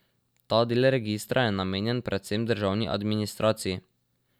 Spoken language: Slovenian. Ta del registra je namenjen predvsem državni administraciji.